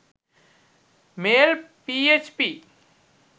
mail php